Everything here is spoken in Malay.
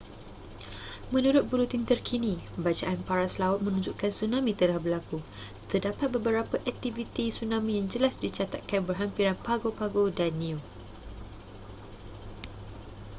menurut buletin terkini bacaan paras laut menunjukkan tsunami telah berlaku terdapat beberapa aktiviti tsunami yang jelas dicatatkan berhampiran pago pago dan niue